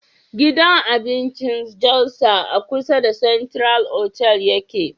Gidan abincin jalsa a kusa da central hotal yake